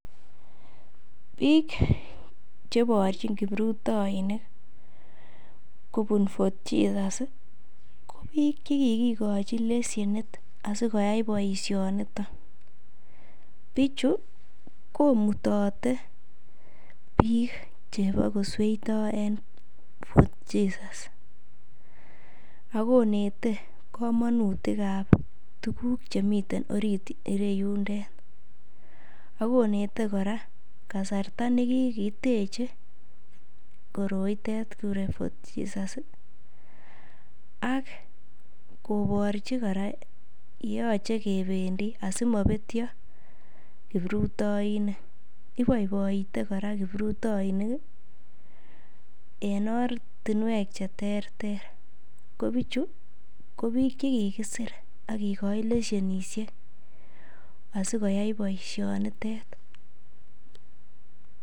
Biikche iborchin kiprutoinik kobune FortJesus ko biik che kigikochi leshenit asikoyai boisionito. Bichu komutote biik chebo kosweito en Fort Jesus ago inete komonutik ab tuguk chemiten orit ireyundet. Ak konete kora kasrta ne kigiteche koroitet kiguren Fort Jesus ak koborchi kora ye yoche kebendi asimabetyo kiprutoinik. Ibaiboite kora kiprutoinik en ortinwek che terter, ko bichu ko biik che kigisir ak kigochi leshenisiek asikoyai boisionitet.